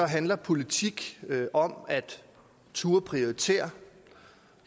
handler politik om at turde prioritere